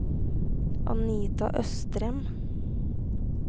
Anita Østrem